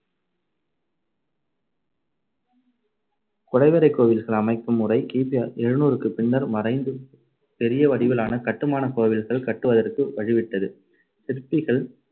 குடைவரைக் கோவில்கள் அமைக்கும் முறை கி பி எழுநூறுக்குப் பின்னர் மறைந்து பெரிய வடிவிலான கட்டுமானக் கோவில்கள் கட்டுவதற்கு வழிவிட்டது. சிற்பிகள்